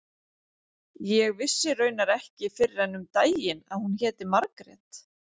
Ég vissi raunar ekki fyrr en um daginn að hún héti Margrét.